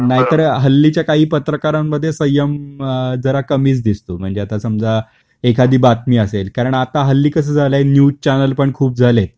नाही तर हल्लीच्या काही पत्रकारांन मध्ये संयम जरा कमीच दिसतो, म्हणजे आता समजा एखादी बातमी असेल कारण आता हल्ली कस झाल आहे न्यूज चॅनल पण खूप झालेत